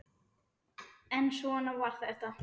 En svona var þetta.